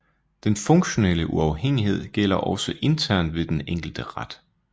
Den funktionelle uafhængighed gælder også internt ved den enkelte ret